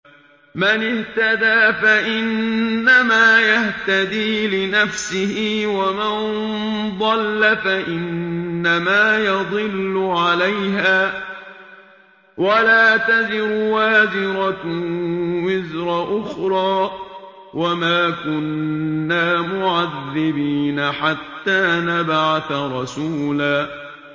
مَّنِ اهْتَدَىٰ فَإِنَّمَا يَهْتَدِي لِنَفْسِهِ ۖ وَمَن ضَلَّ فَإِنَّمَا يَضِلُّ عَلَيْهَا ۚ وَلَا تَزِرُ وَازِرَةٌ وِزْرَ أُخْرَىٰ ۗ وَمَا كُنَّا مُعَذِّبِينَ حَتَّىٰ نَبْعَثَ رَسُولًا